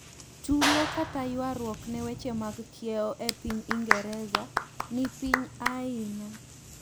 tulo kta yuaruok ne weche mag kiewo e pinyingereza ni piny ainya